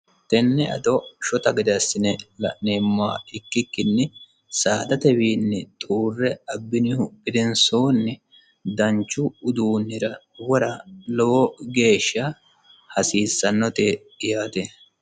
tenne ado shota gadeassine la'neemmoa ikkikkinni saadatewiinni xuurre abbinihu gendensoonni danchu uduunnira wora lowo geeshsha hasiissannote yaate